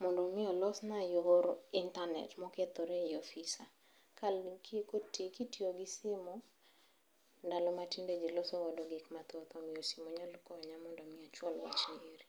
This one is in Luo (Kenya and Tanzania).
Mondo mi olosna yor intanet mokethore ei ofisa. Kitiyo gi simu ndalo matinde ji losogo gikma thoth, omiyo simu nyalo konya mondo mi achwal wachni eri.